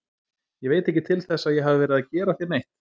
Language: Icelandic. Ég veit ekki til þess að ég hafi verið að gera þér neitt.